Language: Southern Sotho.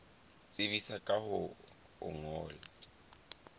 tsebisa ka ho o ngolla